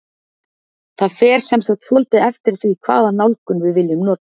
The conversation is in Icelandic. Það fer sem sagt svolítið eftir því hvaða nálgun við viljum nota.